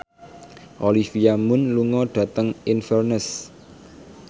Olivia Munn lunga dhateng Inverness